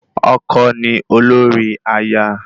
Ọkọ ni olórí aya